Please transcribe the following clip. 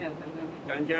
Xankəndliyəm.